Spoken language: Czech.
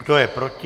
Kdo je proti?